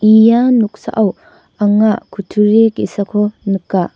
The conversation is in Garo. ia noksao anga kutturi ge·sako nika.